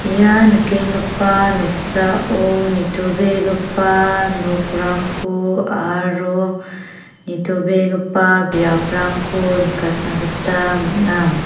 ia nikenggipa noksao nitobegipa nokrangko aro nitobegipa biaprangko nikatna gita man·a.